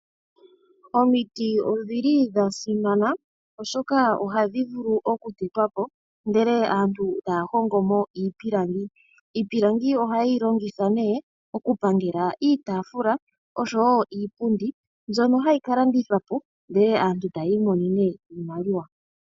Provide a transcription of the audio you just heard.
Omiti odhili dha simana oshoka ohadhi vulu oku tetwapo ndele aantu taya hongomo iipilangi. Iipilangi oha yeyi longitha nee okupangela iitaafula oshowo iipundi mbyono hayi kalandithwapo ndele aantu taya imonene iimaliwa